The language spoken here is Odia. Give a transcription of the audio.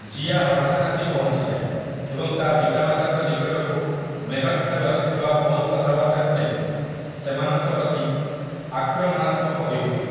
ଜିୟା ହଠାତ୍ ଆସି ପହଞ୍ଚିଯାଏ ଏବଂ ତା ପିତାମାତାଙ୍କ ନିକଟକୁ ମେହକ୍ ଠାରୁ ଆସିଥିବା ଫୋନ କଥାବାର୍ତ୍ତାକୁ ନେଇ ସେମାନଙ୍କ ପ୍ରତି ଆକ୍ରମଣାତ୍ମକ ହୋଇଉଠେ ।